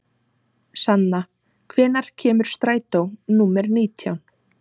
Sanna, hvenær kemur strætó númer nítján?